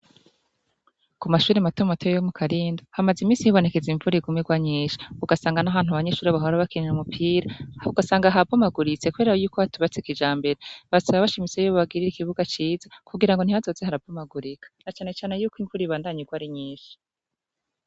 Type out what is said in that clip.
Ku mashure matomato yo mu Karindo hamaze iminsi hibonekeza igwa nyinshi, ugasanga n'ahantu abanyeshure bahora bakinira umupira ugasanga habomaguritse kubera yuko hatubatse kijambere. Basaba bashimitse ko bobagrira ikibuga ciza kugirango ntihazoze harabomagurika na cane cane yuko imvura ibandanya igwa ari nyinshi.